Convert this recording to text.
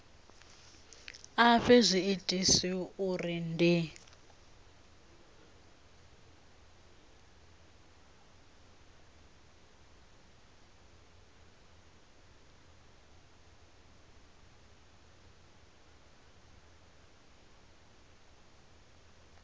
a fhe zwiitisi uri ndi